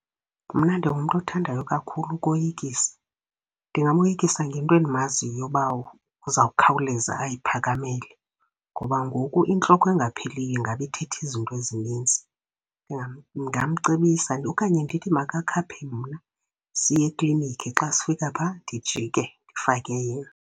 Mna ndingumntu othandayo kakhulu ukuyikisa. Ndingamoyikisa ngento endimaziyo uba uzawukhawuleza ayaphakamele ngoba ngoku intloko engapheliyo ingaba ithetha izinto ezininzi. Ndingamcebisa okanye ndithi makakhaphe mna siye eklinikhi, xa sifika phaa ndijike ndifake yena.